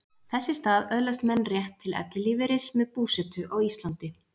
Þess í stað öðlast menn rétt til ellilífeyris með búsetu á Íslandi.